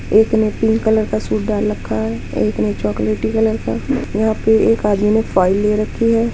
एक ने pink colour का सूट डाल लखा है एक ने चोकलेटी कलर का यहाँ पे एक आदमी ने फाइल ले रखी है।